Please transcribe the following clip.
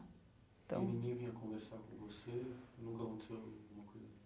Então o menino ia conversar com você, nunca aconteceu alguma coisa?